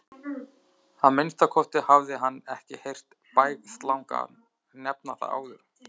Að minnsta kosti hafði hann ekki heyrt Bægslagang nefna það áður.